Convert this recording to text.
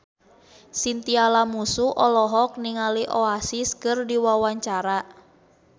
Chintya Lamusu olohok ningali Oasis keur diwawancara